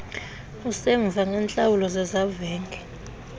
usemva ngeentlawulo zezavenge